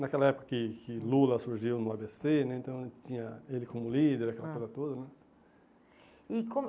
Naquela época que que Lula surgiu no á bê cê né, então tinha ele como líder, hum, aquela coisa toda né. E como